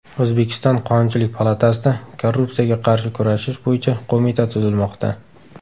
O‘zbekiston Qonunchilik palatasida Korrupsiyaga qarshi kurashish bo‘yicha qo‘mita tuzilmoqda.